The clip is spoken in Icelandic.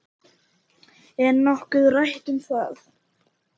Er nokkuð rætt um það?